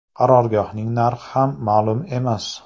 Qarorgohning narxi ham ma’lum emas.